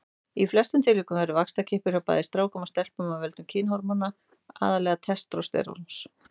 Í flestum tilvikum verður vaxtarkippur hjá bæði strákum og stelpum af völdum kynhormóna, aðallega testósteróns.